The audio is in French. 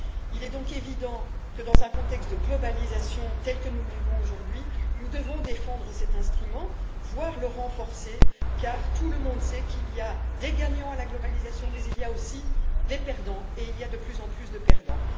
Il est donc évident que, dans un contexte de globalisation tel que nous le vivons aujourd'hui, nous devons défendre cet instrument, voire le renforcer, car tout le monde sait qu'il y a des gagnants à la globalisation, mais il y a aussi de plus en plus de perdants.